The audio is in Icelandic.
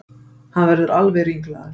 Hann verður alveg ringlaður.